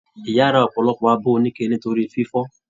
Ìyá rà ọpọlọpọ abọ onike nítorí fífọ.